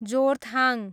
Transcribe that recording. Jorethang